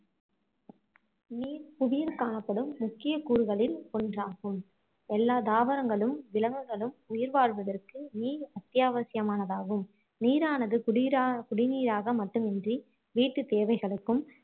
நீர் புவியில் காணப்படும் முக்கிய கூறுகளில் ஒன்றாகும் எல்லாம் தாவரங்களும் விலகங்குளும் உயிர் வாழ்வதற்கு நீர் அத்தியாவசியமானதாகும் நீரானது குடிநீரா குடிநீராக மட்டுமின்றி வீட்டு தேவைகளுக்கும்